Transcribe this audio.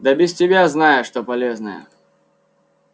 да без тебя знаю что полезное